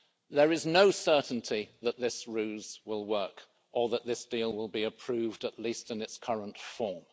There is no certainty that this ruse will work, or that this deal will be approved at least in its current form.